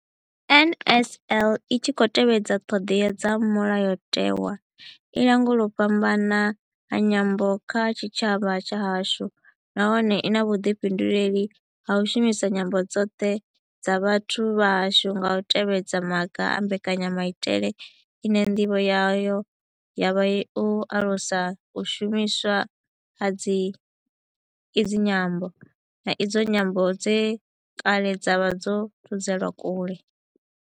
NLS I tshi khou tevhedza ṱhodea dza Mulayotewa, i langula u fhambana ha nyambo kha tshitshavha tshashu nahone I na vhuḓifhinduleli ha u shumisa nyambo dzoṱhe dza vhathu vha hashu nga u tevhedza maga a mbekanyamaitele ine ndivho yayo ya vha u alusa u shumiswa ha idzi nyambo, na idzo nyambo dze kale dza vha dzo thudzelwa kule.